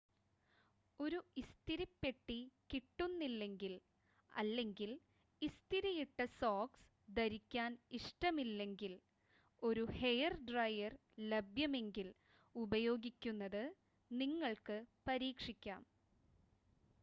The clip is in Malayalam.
ഒരു ഇസ്തിരിപ്പെട്ടി കിട്ടുന്നില്ലെങ്കിൽ അല്ലെങ്കിൽ ഇസ്തിരിയിട്ട സോക്സ് ധരിക്കാൻ ഇഷ്ടമില്ലെങ്കിൽ ഒരു ഹെയർ ഡ്രയർ ലഭ്യമെങ്കിൽ ഉപയോഗിക്കുന്നത് നിങ്ങൾക്ക് പരീക്ഷിക്കാം